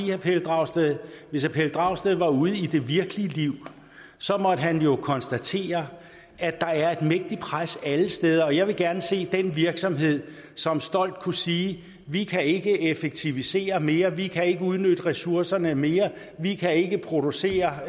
herre pelle dragsted at hvis herre pelle dragsted var ude i det virkelige liv så måtte han konstatere at der er et mægtigt pres alle steder jeg vil gerne se den virksomhed som stolt kunne sige vi kan ikke effektivisere mere vi kan ikke udnytte ressourcerne mere vi kan ikke producere